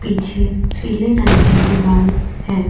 पीछे पीले रंग की दीवाल है।